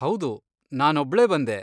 ಹೌದು, ನಾನೊಬ್ಳೇ ಬಂದೆ.